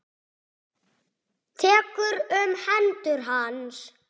Tekur um hendur hans.